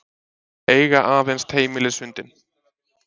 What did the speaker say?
Eiga aðeins heimilishundinn